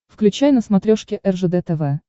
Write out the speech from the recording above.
включай на смотрешке ржд тв